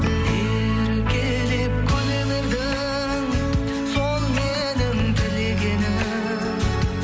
еркелеп күле бердің сол менің тілегенім